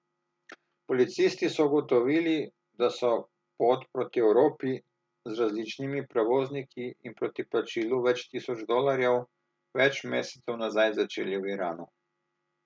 Policisti so ugotovili, da so pot proti Evropi, z različnimi prevozniki in proti plačilu več tisoč dolarjev, več mesecev nazaj začeli v Iranu.